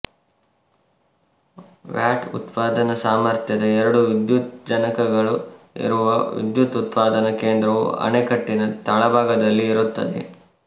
watt ಉತ್ಪಾದನಾ ಸಾರ್ಮಥ್ಯದ ಎರಡು ವಿದ್ಯುತ್ ಜನಕಗಳು ಇರುವ ವಿದ್ಯುತ್ ಉತ್ಪಾದನಾ ಕೇಂದ್ರವು ಅಣೆಕಟ್ಟಿನ ತಳಭಾಗದಲ್ಲಿ ಇರುತ್ತದೆ